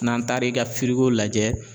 N'an taara i ka lajɛ